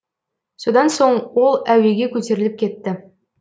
содан соң ол әуеге көтеріліп кетті